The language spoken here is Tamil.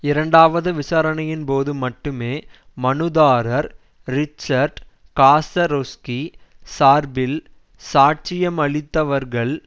இரண்டாவது விசாரணையின் போது மட்டுமே மனுதாரர் ரிச்சார்ட் காசரோஸ்கி சார்பில் சாட்சியமளித்தவர்கள்